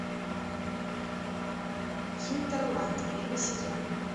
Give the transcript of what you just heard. хинтерланд первый сезон